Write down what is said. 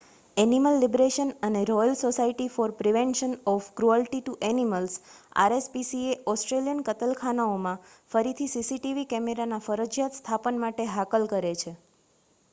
animal liberation અને royal society for prevention of cruelty to animals rspca Australian કતલખાનાઓમાં ફરીથી CCTV કેમેરાના ફરજિયાત સ્થાપન માટે હાકલ કરે છે